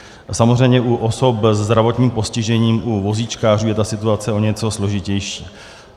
Samozřejmě u osob se zdravotním postižením, u vozíčkářů, je ta situace o něco složitější.